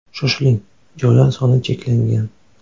Shoshiling joylar soni cheklangan!